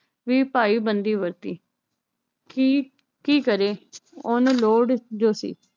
ਵੀ ਭਾਈ ਬੰਦੀ ਵਰਤੀ ਕੀ ਕੀ ਕਰੇ ਓਹਨੂੰ ਲੋੜ ਜੋ ਸੀ